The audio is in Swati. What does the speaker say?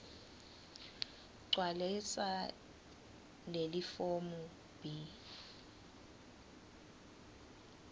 gcwalisa lelifomu b